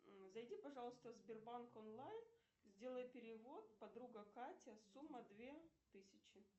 зайди пожалуйста в сбербанк онлайн сделай перевод подруга катя сумма две тысячи